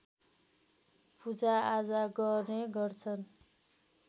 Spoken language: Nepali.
पूजाआजा गर्ने गर्दछन्